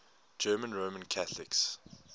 german roman catholics